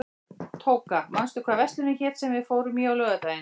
Tóka, manstu hvað verslunin hét sem við fórum í á laugardaginn?